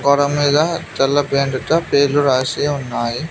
గోడమీద తెల్ల పెయింట్ తో పేర్లు రాసి ఉన్నాయి.